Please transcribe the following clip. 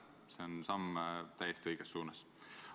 See on samm täiesti õiges suunas.